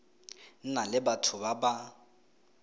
na le batho ba ba